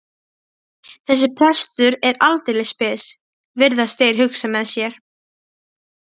Þessi prestur er aldeilis spes, virðast þeir hugsa með sér.